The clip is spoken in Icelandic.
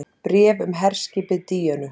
BRÉF UM HERSKIPIÐ DÍÖNU